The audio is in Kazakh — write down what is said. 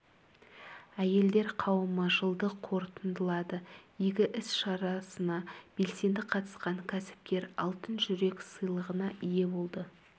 әйелдер қауымы жылды қорытындылады игі іс шарасына белсенді қатысқан кәсіпкер алтын жүрек сыйлығына ие болды